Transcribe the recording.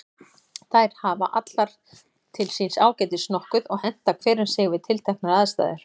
Þær hafa allar til síns ágætis nokkuð og henta hver um sig við tilteknar aðstæður.